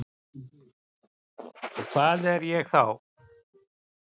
Og hvað er ég þá?